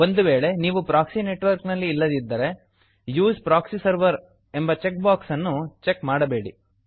ಒಂದು ವೇಳೆ ನೀವು ಪ್ರಾಕ್ಸಿ ನೆಟ್ವರ್ಕ್ ನಲ್ಲಿ ಇಲ್ಲದಿದ್ದರೆ use proxy server use proxy server ಎಂಬ ಚೆಕ್ ಬಾಕ್ಸ್ ಅನ್ನು ಕ್ಲಿಕ್ ಮಾಡಬೇಡಿ